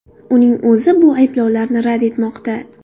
Uning o‘zi bu ayblovlarni rad etmoqda.